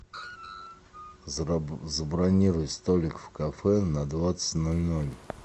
забронируй столик в кафе на двадцать ноль ноль